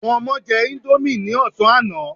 Àwọn ọmọ jẹ índómì ní ọ̀sán àná.